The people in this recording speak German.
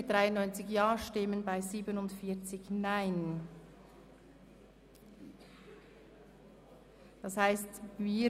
Somit beginnt die Session am Montag, den 4. Dezember 2017, um 08.00 Uhr.